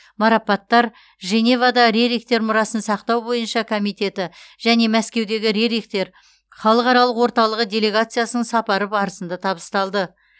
марапаттар женевада рерихтер мұрасын сақтау бойынша комитеті және мәскеудегі рерихтер халықаралық орталығы делегациясының сапары барысында табысталды